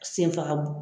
Senfagabugu